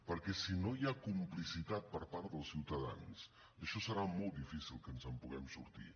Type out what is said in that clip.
perquè si no hi ha complicitat per part dels ciutadans d’això serà molt difícil que ens en puguem sortir